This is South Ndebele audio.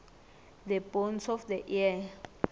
the bones of the ear